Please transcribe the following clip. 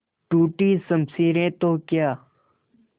टूटी शमशीरें तो क्या